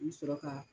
I bi sɔrɔ ka